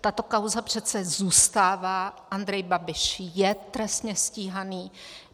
Tato kauza přece zůstává, Andrej Babiš je trestně stíhaný.